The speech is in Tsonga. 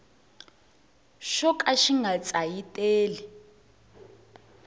xo ka xi nga tsayiteli